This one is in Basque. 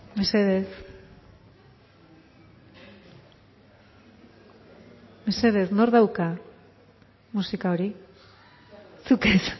mesedez mesedez nork dauka musika hori zuk ez